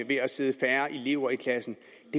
ved at sidde færre elever i klassen